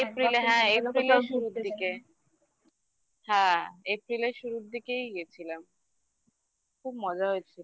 April এ হ্যাঁ April টাও শুরুর দিকে হ্যাঁ April এর শুরুর দিকেই গেছিলাম খুব মজা হয়েছিল